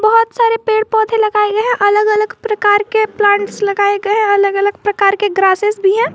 बहोत सारे पेड़ पौधे लगाए गए हैं अलग अलग प्रकार के प्लांट्स लगाए गए हैं अलग अलग प्रकार के ग्रासेस भी है।